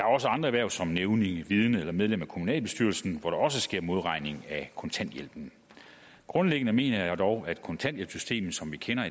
også andre erhverv som nævning vidne eller medlem af kommunalbestyrelsen hvor der også sker modregning af kontanthjælpen grundlæggende mener jeg dog at kontanthjælpsystemet som vi kender